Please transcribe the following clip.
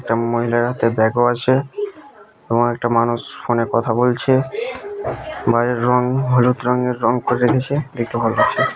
একটা মহিলার হাতে ব্যাগ -ও আছে এবং একটা মানুষ ফোন -এ কথা বলছে বাইরের রং হলুদ রঙের রং করে রেখেছে দেখতে ভাল লাগছে।